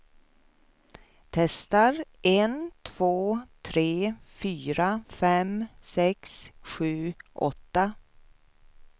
Testar en två tre fyra fem sex sju åtta.